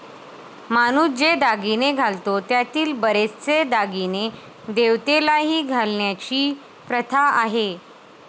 माणूस जे दागिने घालतो त्यातील बरेचसे दागिने देवतेलाही घालण्याची प्रथा आहे.